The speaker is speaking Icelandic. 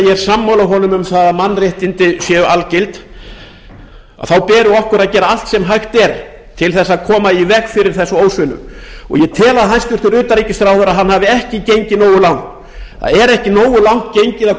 ég er sammála honum um að mannréttindi séu algild og því beri okkur að gera allt sem hægt er til þess að koma í veg fyrir þessa ósvinnu ég tel að hæstvirtur utanríkisráðherra hafi ekki gengið nógu langt það er ekki nógu langt gengið að